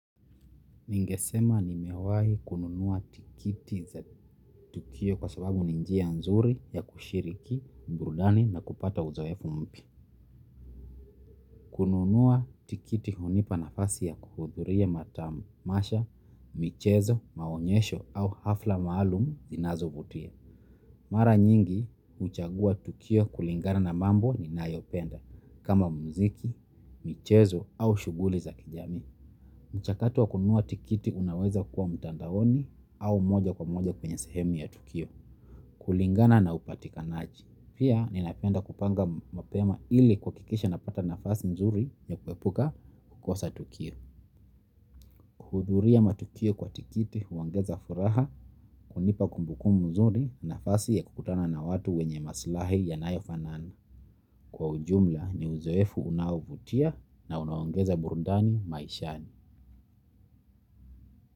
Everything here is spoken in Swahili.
Ningesema nimewahi kununua tikiti za tukio kwa sababu ni njia nzuri ya kushiriki, burudani na kupata uzoefu mpya. Kununua tikiti unipa nafasi ya kuhuduria matamasha, michezo, maonyesho au hafla maalumu zinazobutia. Mara nyingi, uchagua tukio kulingana na mambo ninayopenda, kama mziki, michezo au shuguli za kijami. Mchakatu wa kunua tikiti unaweza kuwa mtandaoni au moja kwa moja kwenye sehemu ya tukio. Kulingana na upatikanaaji. Pia ninapenda kupanga mapema ili kuhakikisha napata nafasi nzuri ya kuebuka tukio. Kuhuduria matukio kwa tikiti uongeza furaha kunipa kumbuku mzuri nafasi ya kukutana na watu wenye maslahi yanayofanani. Kwa ujumla ni uzoefu unaovutia na unaongeza burudani maishani.